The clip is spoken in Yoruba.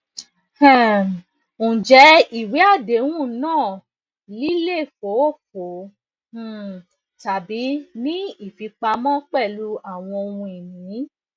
um njẹ iwe adehun naa lilefoofo um tabi ni ifipamo pẹlu awọn ohunini